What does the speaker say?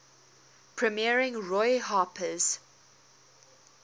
premiering roy harper's